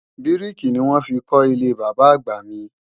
Bíríkì ni wọ́n fi kọ́ ilé Bàbá-àgbà mi